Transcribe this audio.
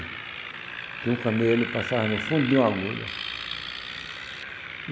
Que um camelo passava no fundo de uma agulha.